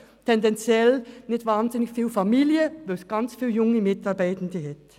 Sie haben tendenziell nicht viele Familien, da es viele junge Mitarbeitende hat.